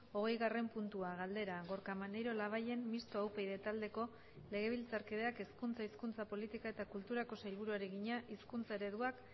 hogeigarren puntua galdera gorka maneiro labayen mistoa upyd taldeko legebiltzarkideak hezkuntza hizkuntza politika eta kulturako sailburuari egina hizkuntza ereduak